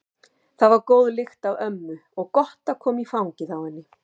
Það var góð lykt af ömmu og gott að koma í fangið á henni.